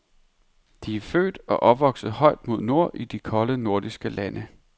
De er født og opvokset højt mod nord i de kolde nordiske lande.